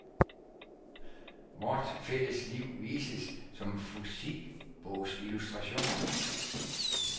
Vort fælles liv vises som fysikbogsillustrationer.